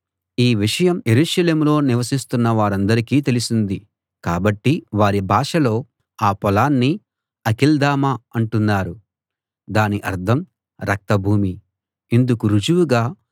ఈ విషయం యెరూషలేములో నివసిస్తున్న వారందరికీ తెలిసింది కాబట్టి వారి భాషలో ఆ పొలాన్ని అకెల్దమ అంటున్నారు దాని అర్థం రక్త భూమి ఇందుకు రుజువుగా